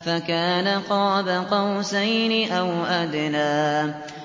فَكَانَ قَابَ قَوْسَيْنِ أَوْ أَدْنَىٰ